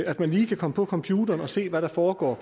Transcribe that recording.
at man lige kan komme på computeren og se hvad der foregår